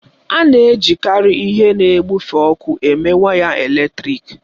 A na-ejikarị ihe na-ebufe ọkụ eme waya eletrịk